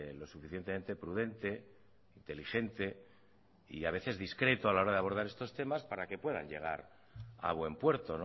lo suficientemente prudente inteligente y a veces discreto a la hora de abordar estos temas para que puedan llegar a buen puerto